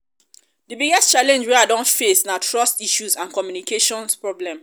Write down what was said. di biggest challenge wey i don face na trust issues and communication problems.